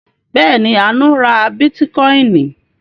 Bẹ́ẹ̀ ni, Àánú ra bítíkọ́ìn.